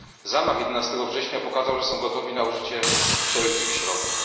Zamach z 11 września pokazał, że są gotowi na użycie wszelkich środków.